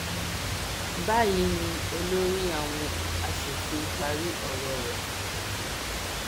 báyìí ni olórí àwọn asòfin parí ọrọ rẹ